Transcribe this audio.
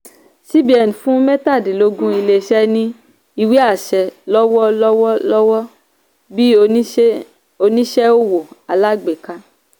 cbn fún mẹ́tadínlógún ilé-iṣẹ́ ní ìwé-àṣẹ lọ́wọ́ lọ́wọ́ lọ́wọ́ bí oníṣẹ́ owó alágbèká.